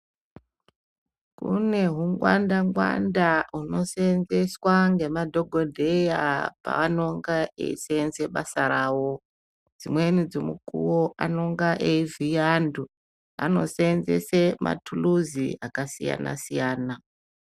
Kune hungwanda-ngwanda hunoseenzeswa ngemadhogodheya paanonga eiseenze basa ravo. Dzimweni dzemukuwo anonga eivhiya antu, anoseenzese mathuluzi akasiyana-siyana.